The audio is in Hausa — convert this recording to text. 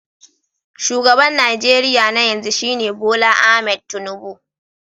Shugaban Najeriya na yanzu shine Bola Ahmed Tinubu